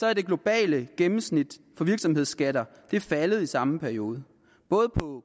er det globale gennemsnit for virksomhedsskatter faldet i samme periode både på